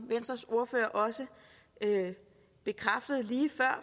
venstres ordfører også bekræftede lige før